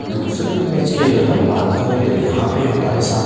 दूसरे इमेज की अगर हम बात करें तो यहाँ पे हमारे सामने--